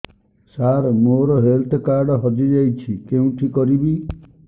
ସାର ମୋର health card ହଜି ଯାଇଛି କେଉଁଠି କରିବି